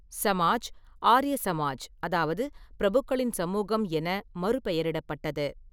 சமாஜ் ஆர்ய சமாஜ் அதாவது பிரபுக்களின் சமூகம் என மறுபெயரிடப்பட்டது.